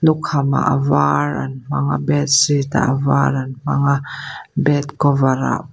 lukhamah ah a var an hmang a bedsheet ah a var an hmang a bed cover ah.